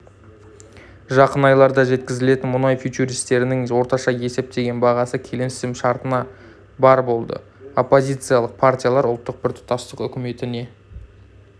жақын айларда жеткізілетін мұнай фьючерстерінің орташа есептеген бағасы келісімшартына барр болды оппозициялық партиялар ұлттық біртұтастық үкіметіне